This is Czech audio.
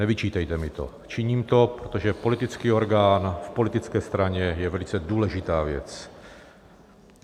Nevyčítejte mi to, činím to, protože politický orgán v politické straně je velice důležitá věc.